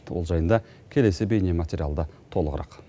ол жайында келесі бейне материалда толығырақ